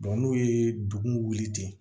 n'u ye dugu wuli ten